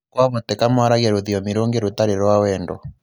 Kwavoteka mwaragia rũthiomi rũngĩ 'rũtarĩ rwa wendo.'